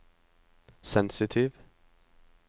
sensitiv